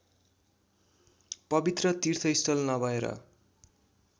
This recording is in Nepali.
पवित्र तीर्थस्थल नभएर